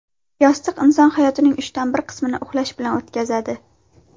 Yostiq Inson hayotining uchdan bir qismini uxlash bilan o‘tkazadi.